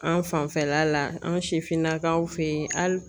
An' fanfɛla la an' sifinnakaw fe ye hal